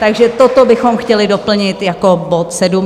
Takže toto bychom chtěli doplnit jako bod sedm.